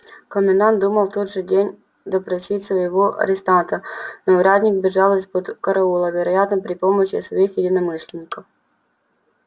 комендант думал в тот же день допросить своего арестанта но урядник бежал из-под караула вероятно при помощи своих единомышленников